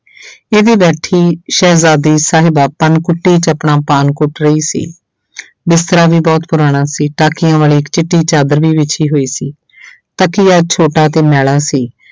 ਇਹ ਤੇ ਬੈਠੀ ਸ਼ਹਿਜਾਦੀ ਸਾਹਿਬਾਂ ਪਨ ਕੁੱਟੀ 'ਚ ਆਪਣਾ ਪਾਨ ਕੁੱਟ ਰਹੀ ਸੀ ਬਿਸਤਰਾ ਵੀ ਬਹੁਤ ਪੁਰਾਣਾ ਸੀ ਟਾਕੀਆਂ ਵਾਲੀ ਇੱਕ ਚਿੱਟੀ ਚਾਦਰ ਵੀ ਵਿੱਛੀ ਹੋਈ ਸੀ ਤਕੀਆ ਛੋਟਾ ਅਤੇ ਮੈਲਾ ਸੀ।